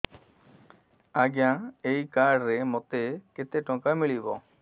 ଆଜ୍ଞା ଏଇ କାର୍ଡ ରେ ମୋତେ କେତେ ଟଙ୍କା ମିଳିବ